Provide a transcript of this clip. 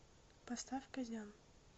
поставь казян